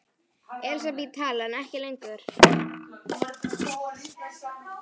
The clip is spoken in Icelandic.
Elísabet Hall: En ekki lengur?